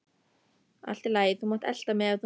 Allt í lagi, þú mátt elta mig ef þú nennir.